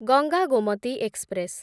Ganga Gomti express